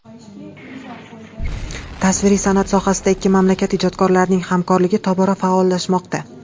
Tasviriy san’at sohasida ikki mamlakat ijodkorlarining hamkorligi tobora faollashmoqda.